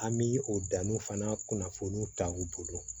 An bi o danin fana kunnafoni taa u bolo